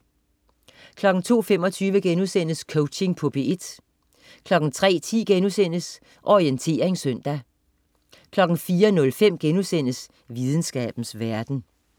02.25 Coaching på P1* 03.10 Orientering søndag* 04.05 Videnskabens verden*